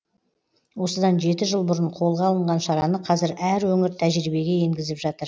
осыдан жеті жыл бұрын қолға алынған шараны қазір әр өңір тәжірибеге енгізіп жатыр